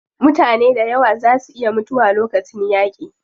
Mutane dayawa zaa su iya mutuwa lokacin yaaƙi.